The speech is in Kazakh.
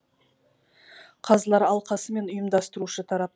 қазылар алқасы мен ұйымдастырушы тарап